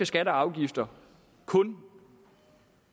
skatter og afgifter kun